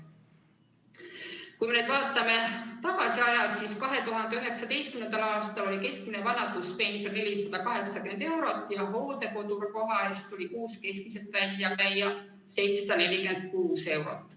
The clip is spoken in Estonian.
Kui me vaatame ajas tagasi, siis näeme, et 2019. aastal oli keskmine vanaduspension 480 eurot ja hooldekodukoha eest tuli kuus keskmiselt välja käia 746 eurot.